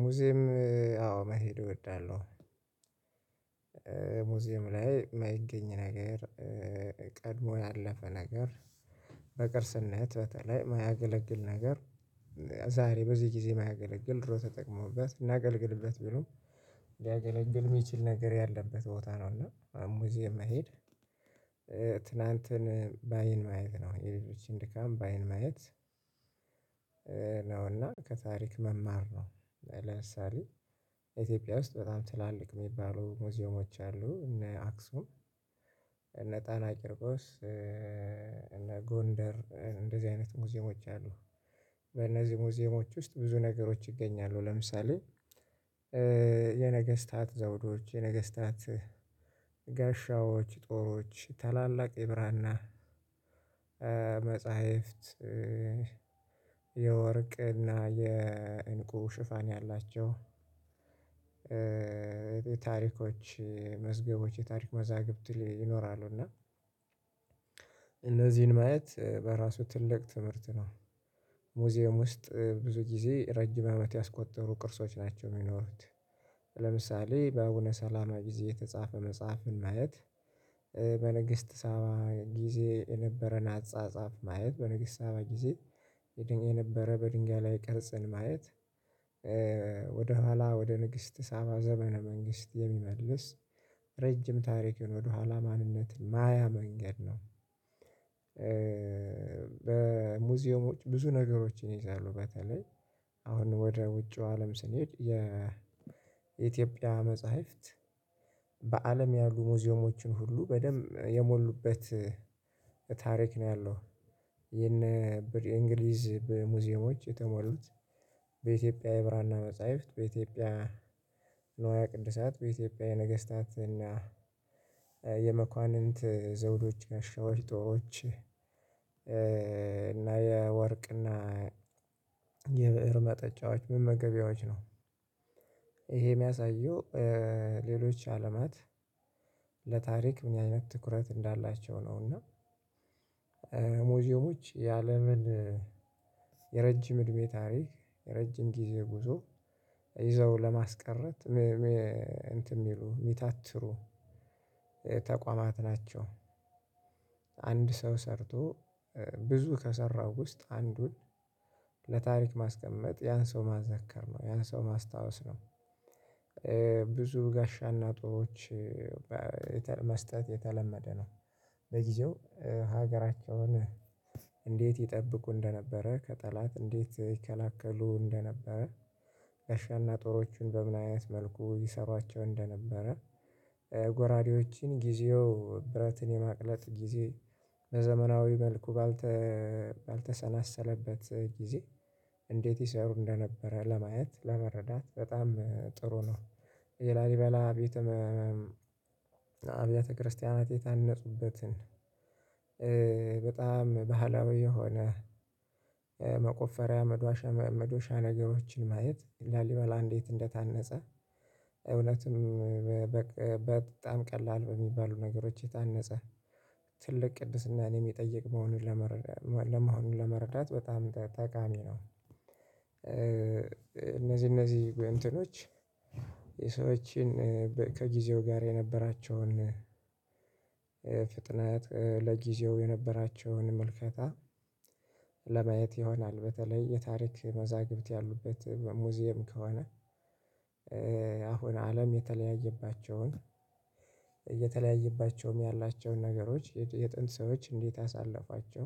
ሙዚየም አዎ መሄድ እወዳለሁ። ሙዚየም ላይ የማይገኝ ነገር ቀድሞ ያለፈ ነገር በቅርስነት በተለይ የማያገለግል ነገር ዛሬ በዚህ ጊዜ የማያገለግል ድሮ ተጠቅሞበት እናገልግልበት ብሎ ሊያገለግል የሚችል ነገር ያለበት ቦታ ነው። እና ሙዚየም መሄድ ትላንትን ባይን ማየት ነው የሌሎችን ድካም ባይን ማየት ነው እና ከታሪክ መማር ነው። ለምሳሌ ኢትዮጵያ ውስጥ በጣም ትላልቅ የሚባሉ ሙዚዮሞች አሉ እነ አክሱም እነ ጣና ቅርቆስ እነ ጎንደር እንደዚህ አይነት ሙዚየሞች አሉ። በእነዚህ ሙዚየሞች ውስጥ ብዙ ነገሮች ይገኛሉ ለምሳሌ የነገስታት ዘውዶች የነገስታት ጋሻዎች ጦሮች ታላላቅ የብራና መጽሐፍት የወርቅና የእንቁ ሽፋን ያላቸው ታሪኮች መዝገቦች የታሪክ መዛግብት ይኖራሉ እና እነዚህን ማየት በራሱ ትልቅ ትምህርት ነው። ሙዚየም ውስጥ ብዙ ጊዜ ረጅም አመት ያስቆጠሩ ቅርሶች ናቸው። የሚኖሩት ለምሳሌ በአቡነ ሰላማ ጊዜ የተጻፈ መጽሐፍን ማየት በንግስት ሳባ ጊዜ የነበረን አጻጻፍ ማየት በንግስት ሳባ ጊዜ የነበረ በድንጋይ ላይ ቅርጽን ማየት ወደኋላ ወደ ንግስት ሳባ ዘመነ መንግስት የሚመልስ ረጅም ታሪክ የሆነ ወደኋላ ማንነትን ማያ መንገድ ነው። በሙዚየሞች ብዙ ነገሮችን ይይዛሉ በተለይ አሁን ወደ ውጪው አለም ስንሄድ የኢትዮጵያ መጽሐፍት በአለም ያሉ ሙዚየሞችን ሁሉ በደንብ የሞሉበት ታሪክ ነው ያለው። የነ የእንግሊዝ በሙዚየሞች የተሞሉት በኢትዮጵያ የብራና መጽሐፍት በኢትዮጵያ ንዋየ ቅድሳት በኢትዮጵያ የነገስታት እና የመኳንንት ዘውዶች ጋሻዎች ጦሮች እና የወርቅና የብእር መጠጫዎች ምን መገቢያዎች ነው ይሄ የሚያሳየው ሌሎች አለማት ለታሪክ እኛ አይነት ትኩረት እንዳላቸው ነው። እና ሙዚየሞች የአለምን የረጅም እድሜ ታሪክ የረጅም ጊዜ ጉዞ ይዘው ለማስቀረት እንትን የሚሉ የሚታትሩ ተቋማት ናቸው። አንድ ሰው ሰርቶ ብዙ ከሰራው ውስጥ አንዱን ለታሪክ ማስቀመጥ ያን ሰው ማዘከር ነው ያን ሰው ማስታወስ ነው። ብዙ ጋሻና ጦሮች መስጠት የተለመደ ነው በጊዜው ሀገራቸውን እንዴት ይጠብቁ እንደነበረ ከጠላት እንዴት ይከለክሉ እንደነበረ ጋሻና ጦሮችን በምን አይነት መልኩ ይሰሯቸው እንደነበረ ጎራዴዎችን ጊዜው ብረትን የማቅለጥ ጊዜ በዘመናዊ መልኩ ባልተሰናሰለበት ጊዜ እንዴት ይሰሩ እንደነበረ ለማየት ለመረዳት በጣም ጥሩ ነው። የላሊበላ አብያተ ክርስቲያናት የታነፁበትን በጣም ባህላዊ የሆነ መቆፈሪያ መዷሻ መዶሻ ነገሮችን ማየት ላሊበላ እንዴት እንደታነጸ እውነቱም በጣም ቀላል በሚባሉ ነገሮች የታነፀ ትልቅ ቅድስናን የሚጠይቅ መሆኑን ለመረዳት ለመሆኑን ለመረዳት በጣም ጠቃሚ ነው። እነዚህ እነዚህ እንትኖች የሰዎችን ከጊዜው ጋር የነበራቸውን ፍጥነት ለጊዜው የነበራቸውን ምልከታ ለማየት ይሆናል በተለይ የታሪክ መዛግብት ያሉበት ሙዚየም ከሆነ። አሁን አለም የተለያየባቸውን የተለያየባቸውም ያላቸውን ነገሮች የጥንት ሰዎች እንዴት አሳለፏቸው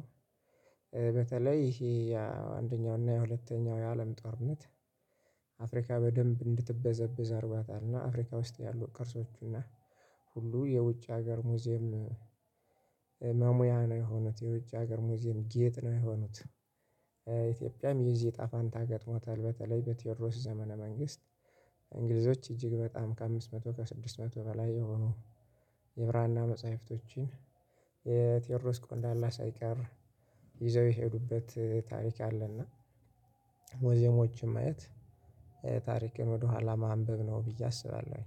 በተለይ ይሄ ያ አንደኛው እና የሁለተኛው የአለም ጦርነት አፍሪካ በደንብ እንድትበዘብዝ አርጓታልና አፍሪካ ውስጥ ያሉ ቅርሶቹና ሁሉ የውጭ ሀገር ሙዚየም መሙያ ነው የሆኑት። የውጭ ሀገር ሙዚየም ጌጥ ነው የሆኑት። ኢትዮጵያም የዚህ እጣ ፋንታ ገጥሟታል በተለይ በቴዎድሮስ ዘመነ መንግስት እንግሊዞች እጅግ በጣም ከአምስት መቶ ከስድስት መቶ በላይ የሆኑ የብራና መጽሐፍቶችን የቴዎድሮስ ቆንዳላ ሳይቀር ይዘው የሄዱበት ታሪክ አለ። እና ማየት ታሪክን ወደኋላ ማንበብ ነው ብዬ አስባለሁኝ።